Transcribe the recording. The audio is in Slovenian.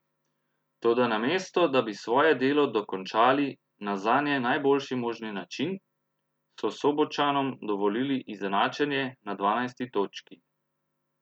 Toda namesto, da bi svoje delo dokončali na zanje najboljši možni način, so Sobočanom dovolili izenačenje na dvanajsti točki.